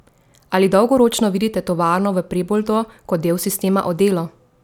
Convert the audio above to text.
Ali dolgoročno vidite tovarno v Preboldu kot del sistema Odelo?